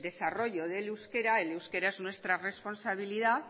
desarrollo del euskera el euskera es nuestra responsabilidad